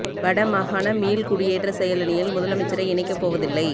வட மாகாண மீள் குடியேற்ற செயலணியில் முதலமைச்சரை இணைக்கப் போவதில்லை